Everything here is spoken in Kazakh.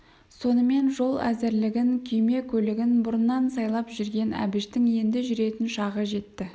сонымен жол әзірлігін күйме-көлігін бұрыннан сайлап жүрген әбіштің енді жүретін шағы жетті